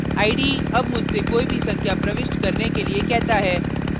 ide अब मुझसे कोई भी संख्या प्रविष्ट करने के लिए कहता है